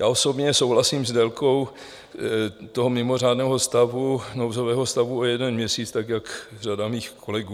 Já osobně souhlasím s délkou toho mimořádného stavu, nouzového stavu, o jeden měsíc, tak jak řada mých kolegů.